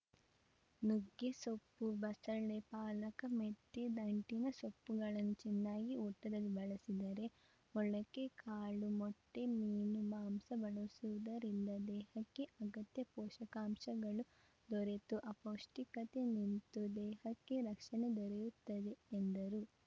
ನುಗ್ಗೆ ಸೊಪ್ಪು ಬಸಳೆ ಪಾಲಕ ಮೆತ್ಯೆ ದಂಟಿನಸೊಪ್ಪುಗಳನ್ನು ಚನ್ನಾಗಿ ಊಟದಲ್ಲಿ ಬಳಸಿದರೆ ಮೊಳಕೆ ಕಾಳು ಮೊಟ್ಟೆಮೀನು ಮಾಂಸ ಬಳಸುವುದರಿಂದ ದೇಹಕ್ಕೆ ಅಗತ್ಯ ಪೋಷಕಾಂಶಗಳು ದೊರೆತು ಅಪೌಷ್ಠಿಕತೆ ನಿಂತು ದೇಹಕ್ಕೆ ರಕ್ಷಣೆ ದೊರೆಯುತ್ತದೆ ಎಂದರು